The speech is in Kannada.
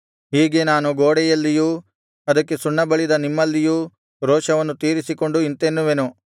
ಹೀಗೆ ನಾನು ಗೋಡೆಯಲ್ಲಿಯೂ ಅದಕ್ಕೆ ಸುಣ್ಣ ಬಳಿದ ನಿಮ್ಮಲ್ಲಿಯೂ ರೋಷವನ್ನು ತೀರಿಸಿಕೊಂಡು ಇಂತೆನ್ನುವೆನು